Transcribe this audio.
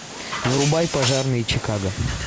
врубай пожарные чикаго